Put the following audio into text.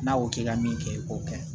N'a ko k'i ka min kɛ i k'o kɛ